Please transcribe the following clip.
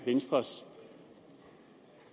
venstres